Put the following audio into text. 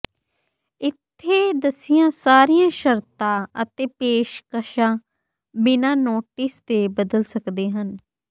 ਇੱਥੇ ਦੱਸੀਆਂ ਸਾਰੀਆਂ ਸ਼ਰਤਾਂ ਅਤੇ ਪੇਸ਼ਕਸ਼ਾਂ ਬਿਨਾਂ ਨੋਟਿਸ ਦੇ ਬਦਲ ਸਕਦੇ ਹਨ